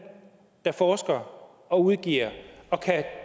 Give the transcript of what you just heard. der forsker og udgiver og kan